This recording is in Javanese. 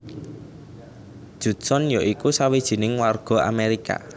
Judson ya iku sawijining warga Amerika